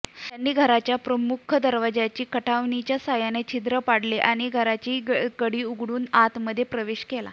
त्यांनी घराच्या मुख्य दरवाजी कठावणीच्या सहाय्याने छिद्र पाडले आणि घराची कडी उघडून आतमध्ये प्रवेश केला